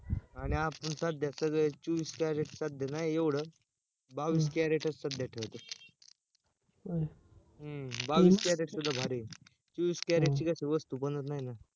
आणि आपण सध्या सगळे चौवीस carat सध्या नाय येवड बावीस carat च सध्या ठेवायच हम्म बावीस carat सुद्धा भारी आहे चौवीस carat ची कशी वस्तू बनत नाय ना!